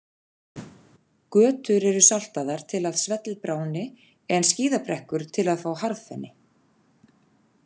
Götur eru saltaðar til að svellið bráðni, en skíðabrekkur til að fá harðfenni.